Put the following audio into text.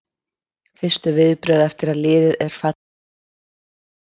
Fyrstu viðbrögð eftir að liðið er fallið niður um deild?